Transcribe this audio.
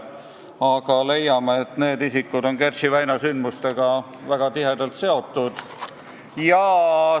Aga me arvame, et need isikud on Kertši väina sündmustega väga tihedalt seotud.